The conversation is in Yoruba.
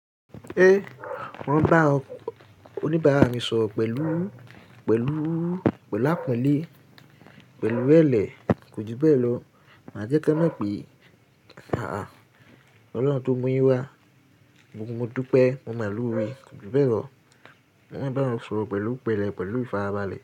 Ẹ́, wọ́n ń bá oníbàárà mi sọ̀rọ̀ pẹ̀lú, pẹ̀lú, pẹ̀lú ápọ́nlé, pẹ̀lú ìrẹ́lẹ́, kò ju bẹ́ẹ̀ lọ. Mà á jẹ́ k'wọ́n mọ̀ pé àáàh, Ọlọ́run tó mú yín wá, gbogbo mo dúpẹ́, mo mọ̀ọ́ lóore, kò ju bẹ́ẹ̀ lọ. Mo máa ń bá wọn sọ̀rọ̀ pẹ̀lú pẹ̀lẹ́, pẹ̀lú ìfarabalẹ̀